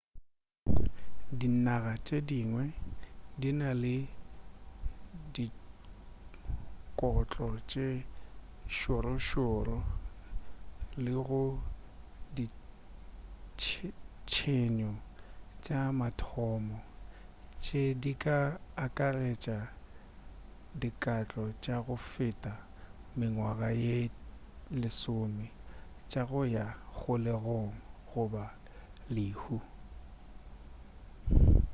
dinaga tše dingwe di na le dikotlo tše šorošoro le go ditshenyo tša mathomo tše di ka akaretša dikatlolo tša go feta mengwaga ye 10 tša go ya kgolegong goba lehu